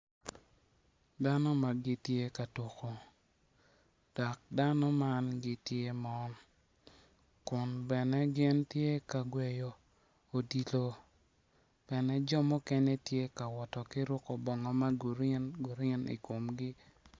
Dano ma gitye ka tuko dok dano man gitye ma kun bene gitye ka gweyo odilo jo mukene gitye ka wot ki ruko bongo ma green green i komgi.